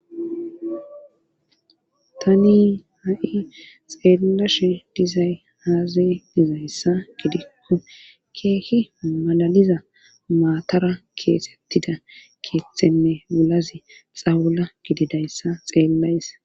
tani ha7i xeellashe dizay aaze dizayssa gidikko keehi malaliza maatara keesettida keeththeme wulazi xawula gididayssa xeellays.